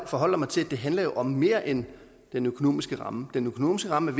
forholder mig til at det handler om mere end den økonomiske ramme den økonomiske ramme